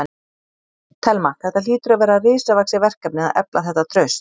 Telma: Þetta hlýtur að vera risavaxið verkefni að efla þetta traust?